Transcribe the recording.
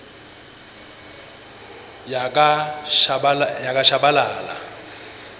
yakashabalala